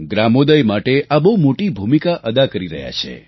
ગ્રામોદય માટે આ બહુ મોટી ભૂમિકા અદા કરી રહ્યું છે